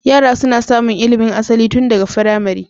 Yara suna samun ilimin asali tun daga firamare.